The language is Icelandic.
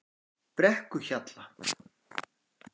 Brekkuhjalla